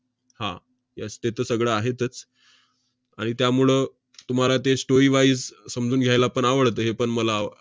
हा, yes ते तर सगळं आहेतच. आणि त्यामुळं तुम्हाला ते strorywise समजून घ्यायला आवडतं, हेपण मला आव~